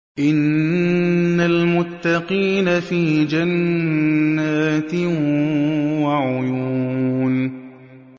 إِنَّ الْمُتَّقِينَ فِي جَنَّاتٍ وَعُيُونٍ